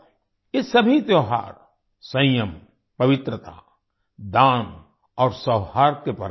ये सभी त्योहार संयम पवित्रता दान और सौहार्द के पर्व हैं